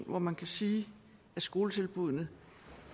hvor man kan sige at skoletilbuddene